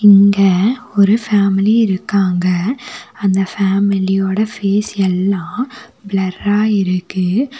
இங்க ஒரு ஃபேமிலி இருக்காங்க அந்த ஃபேமிலியோட ஃபேஸ் எல்லா பிளர்ரா இருக்கு.